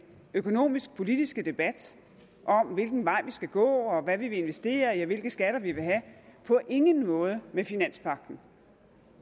økonomisk politiske debat om hvilken vej vi skal gå hvad vi vil investere i og hvilke skatter vi vil have på ingen måde med finanspagten